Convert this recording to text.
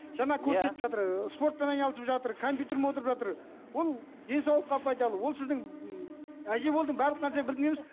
жаңа көрсетіп жатыр ы спортпен айналысып жатыр компьютер ме отырып жатыр ол денсаулыққа пайдалы ол сіздің әже болдың барлық нәрсе білдің емес